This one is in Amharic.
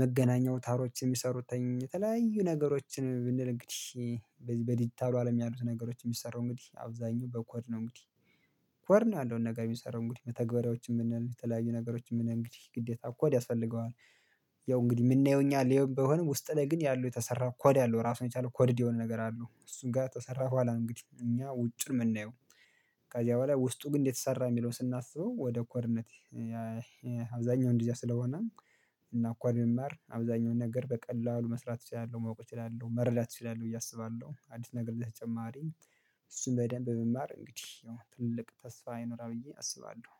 መገናኛ ወታሮች የሚሰሩት ተኝ ተላዩ ነገሮችን ብንል እንግዲህ። በዲጂታሉ አለም ያሉት ነገሮች የሚሰሩ እንግዲህ አብዛኛው በኮር ነው እንግዲህ። ኮድ ነው ያለውን ነገር የሚሰራው እንግዲህ በተግባራዎች የምንል የተለያዩ ነገሮችን ምን እንግዲህ ግዴታ እኮ ያስፈልገዋል። ያው እንግዲህ የምናየው እኛ ላይ ይሄን በሆነ ውስጥ ላይ ግን ያለው የተሰራ ኮድ አለው ራሱ የቻለው ኮድ የሆነ ነገር አለው እሱን ጋር ተሰራሁ አላውቅም እንግዲህ እኛ ውጭ የምናየው። ከዚያ በኋላ ውስጡ ግን እንዴት ሰራ የሚለውን ስናስበው ወደ ኮርነት። አብዛኛው እንደዚያ ስለሆነ። እና እንኳን መማር አብዛኛውን ነገር በቀላሉ መስራት እችላለሁ ማወቅ እችላለሁ መርዳት እችላለሁ ብዬ አስባለሁ። አዲስ ነገር ተጨማሪ እሱን በደንብ ብማር እንግዲህ ትልቅ ተስፋ አይኖርም ብዬ አስባለሁ